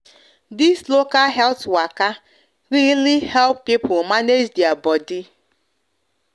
this local health waka really help people manage their bodi